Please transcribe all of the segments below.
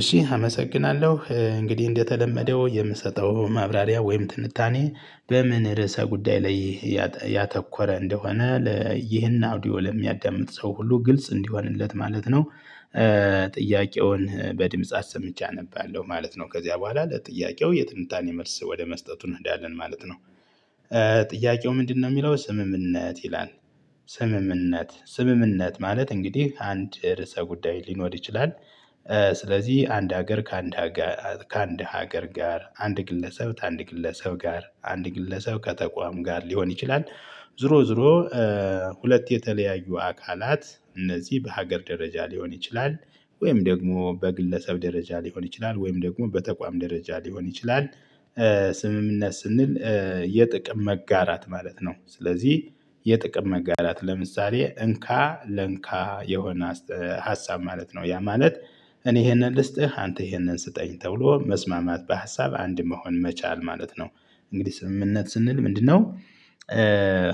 እሺ አመሰግናለሁ እንግዲህ እንደተለመደው የምሰጠው ማብራሪያ ወይም ትንታኔ በምን ርዕሰ ጉዳይ ላይ ያተኮረ እንደሆነ ይህን አውዲዮ ለሚያዳምጥ ሰው ሁሉ ግልጽ እንዲሆንለት ማለት ነው። ጥያቄውን በድምጽ አሰምቼ አነባለሁ ማለት ነው። ከዚያ በኋላ ለጥያቄው የትንታኔ መልስ ወደ መስጠቱ እንሄዳለን ማለት ነው። ጥያቄው ምንድነው? የሚለው ስምምነት ይላል። ስምምነት ስምምነት ማለት እንግዲህ አንድ ርዕሰ ጉዳይ ሊኖር ይችላል። ስለዚህ አንድ ሀገር ከአንድ ሀገ ከአንድ ሀገር ጋር አንድ ግለሰብ ተአንድ ግለሰብ ጋር አንድ ግለሰብ ከተቋም ጋር ሊሆን ይችላል። ዙሮ ዙሮ ሁለት የተለያዩ አካላት እነዚህ በሀገር ደረጃ ሊሆን ይችላል ወይም ደግሞ በግለሰብ ደረጃ ሊሆን ይችላል ወይም ደግሞ በተቋም ደረጃ ሊሆን ይችላል። ስምምነት ስንል የጥቅም መጋራት ማለት ነው። ስለዚህ የጥቅም መጋራት ለምሳሌ እንካ ለእንካ የሆነ ሀሳብ ማለት ነው ያ ማለት እኔ ይሄንን ልስጥህ አንተ ይሄንን ስጠኝ ተብሎ መስማማት በሀሳብ አንድ መሆን መቻል ማለት ነው። እንግዲህ ስምምነት ስንል ምንድነው?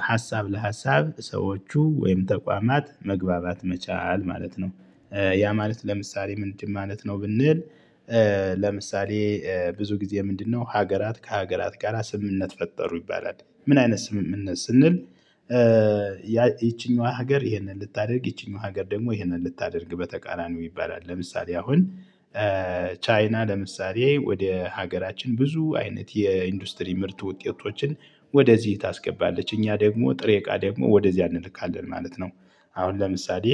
ሀሳብ ለሀሳብ ሰዎቹ ወይም ተቋማት መግባባት መቻል ማለት ነው። ያ ማለት ለምሳሌ ምንድን ማለት ነው ብንል? ለምሳሌ ብዙ ጊዜ ምንድነው ሀገራት ከሀገራት ጋራ ስምምነት ፈጠሩ ይባላል። ምን አይነት ስምምነት ስንል? ይቺኛዋ ሀገር ይህንን ልታደርግ ይቺኛዋ ሀገር ደግሞ ይህንን ልታደርግ በተቃራኒው ይባላል ለምሳሌ አሁን ቻይና ለምሳሌ ወደ ሀገራችን ብዙ አይነት የኢንዱስትሪ ምርት ውጤቶችን ወደዚህ ታስገባለች እኛ ደግሞ ጥሬ እቃ ደግሞ ወደዚያ እንልካለን ማለት ነው። አሁን ለምሳሌ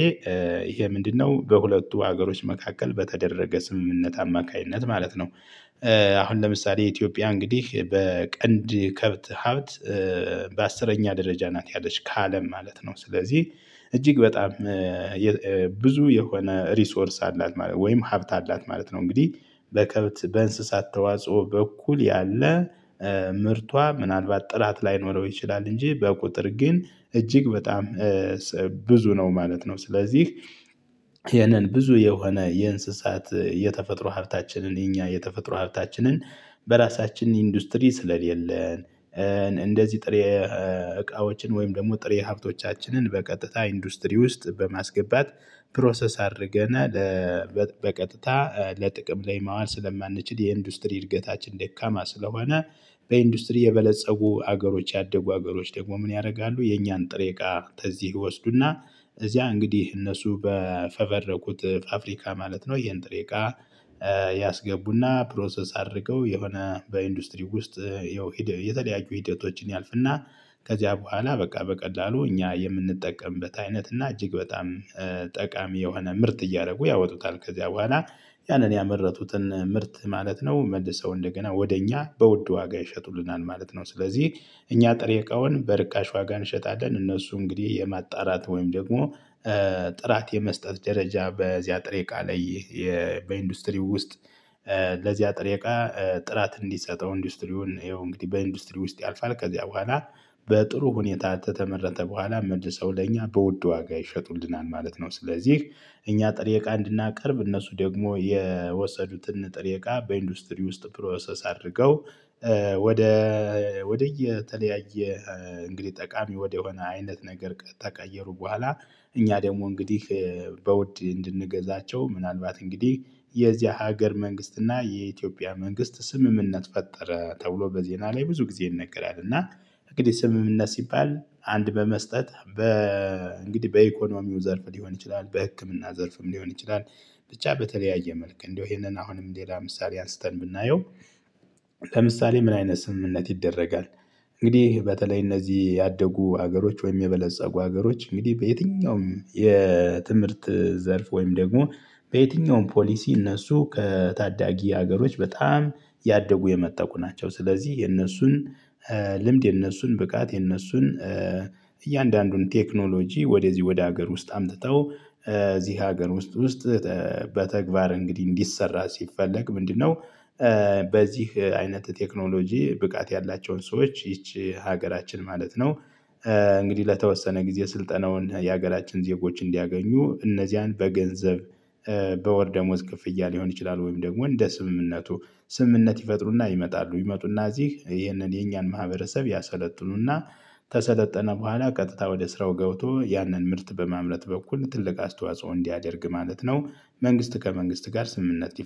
ይሄ ምንድነው? በሁለቱ ሀገሮች መካከል በተደረገ ስምምነት አማካኝነት ማለት ነው። አሁን ለምሳሌ ኢትዮጵያ እንግዲህ በቀንድ ከብት ሀብት በአስረኛ ደረጃ ናት ያለች ከአለም ማለት ነው። ስለዚህ እጅግ በጣም ብዙ የሆነ ሪሶርስ አላት ማለት ወይም ሀብት አላት ማለት ነው። እንግዲህ በከብት በእንስሳት ተዋጽኦ በኩል ያለ ምርቷ ምናልባት ጥራት ላይኖረው ይችላል እንጂ በቁጥር ግን እጅግ በጣም ብዙ ነው ማለት ነው። ስለዚህ ይሄንን ብዙ የሆነ የእንስሳት የተፈጥሮ ሀብታችንን የኛ የተፈጥሮ ሀብታችንን በራሳችን ኢንዱስትሪ ስለሌለን እንደዚህ ጥሬ እቃዎችን ወይም ደግሞ ጥሬ ሀብቶቻችንን በቀጥታ ኢንዱስትሪ ውስጥ በማስገባት ፕሮሰስ አድርገናል። በቀጥታ ለጥቅም ላይ ማዋል ስለማንችል የኢንዱስትሪ እድገታችን ደካማ ስለሆነ በኢንዱስትሪ የበለፀጉ አገሮች ያደጉ አገሮች ደግሞ ምን ያረጋሉ የኛን ጥሬ እቃ ተዚህ ይወስዱና እዚያ እንግዲህ እነሱ በፈበረኩት ፋፍሪካ ማለት ነው። ይሄን ጥሬ እቃ ያስገቡና ፕሮሰስ አድርገው የሆነ በኢንዱስትሪው ውስጥ ይኸው የተለያዩ ሂደቶችን ያልፍና ከዚያ በኋላ በቃ በቀላሉ እኛ የምንጠቀምበት አይነት እና እጅግ በጣም ጠቃሚ የሆነ ምርት እያረጉ ያወጡታል ከዚያ በኋላ ያንን ያመረቱትን ምርት ማለት ነው መልሰው እንደገና ወደ እኛ በውድ ዋጋ ይሸጡልናል ማለት ነው። ስለዚህ እኛ ጥሬ እቃውን በርካሽ ዋጋ እንሸጣለን እነሱ እንግዲህ የማጣራት ወይም ደግሞ ጥራት የመስጠት ደረጃ በዚያ ጥሬ እቃ ላይ በኢንዱስትሪው ውስጥ ለዚያ ጥሬ እቃ ጥራት እንዲሰጠው ኢንዱስትሪውን ይኸው እንግዲህ በኢንዱስትሪ ውስጥ ያልፋል ከዚያ በኋላ በጥሩ ሁኔታ ተተመረተ በኋላ መልሰው ለእኛ በውድ ዋጋ ይሸጡልናል ማለት ነው። ስለዚህ እኛ ጥሬ እቃ እንድናቀርብ እነሱ ደግሞ የወሰዱትን ጥሬ እቃ በኢንዱስትሪ ውስጥ ፕሮሰስ አድርገው ወደ ወደየተለያየ እንግዲህ ጠቃሚ ወደሆነ አይነት ነገር ከተቀየሩ በኋላ እኛ ደግሞ እንግዲህ በውድ እንድንገዛቸው ምናልባት እንግዲህ የዚያ ሀገር መንግስት እና የኢትዮጵያ መንግስት ስምምነት ፈጠረ ተብሎ በዜና ላይ ብዙ ጊዜ ይነገራል እና እንግዲህ ስምምነት ሲባል አንድ በመስጠት በ እንግዲህ በኢኮኖሚው ዘርፍ ሊሆን ይችላል በህክምና ዘርፍም ሊሆን ይችላል። ብቻ በተለያየ መልክ እንደው ይሄንን አሁንም ሌላ ምሳሌ አንስተን ብናየው? ለምሳሌ ምን አይነት ስምምነት ይደረጋል? እንግዲህ በተለይ እነዚህ ያደጉ ሀገሮች ወይም የበለፀጉ ሀገሮች እንግዲህ በየትኛውም የትምህርት ዘርፍ ወይም ደግሞ በየትኛውም ፖሊሲ እነሱ ከታዳጊ ሀገሮች በጣም ያደጉ የመጠቁ ናቸው። ስለዚህ የነሱን ልምድ የነሱን ብቃት የነሱን እያንዳንዱን ቴክኖሎጂ ወደዚህ ወደ ሀገር ውስጥ አምጥተው እዚህ ሀገር ውስጥ ውስጥ በተግባር እንግዲህ እንዲሰራ ሲፈለግ ምንድነው? በዚህ አይነት ቴክኖሎጂ ብቃት ያላቸውን ሰዎች ይቺ ሀገራችን ማለት ነው። እንግዲህ ለተወሰነ ጊዜ ስልጠናውን የሀገራችን ዜጎች እንዲያገኙ እነዚያን በገንዘብ በወር ደሞዝ ክፍያ ሊሆን ይችላል ወይም ደግሞ እንደ ስምምነቱ ስምምነት ይፈጥሩና ይመጣሉ ይመጡና እዚህ ይህንን የኛን ማህበረሰብ ያሰለጥኑና ተሰለጠነ በኋላ ቀጥታ ወደ ስራው ገብቶ ያንን ምርት በማምረት በኩል ትልቅ አስተዋጽኦ እንዲያደርግ ማለት ነው። መንግስት ከመንግስት ጋር ስምምነት